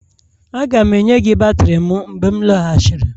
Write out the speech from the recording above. Aga m enye gị batrị m mgbe m lọghachiri